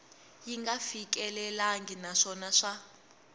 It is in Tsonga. yi nga fikelelangi naswona swa